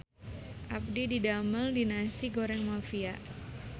Abdi didamel di Nasi Goreng Mafia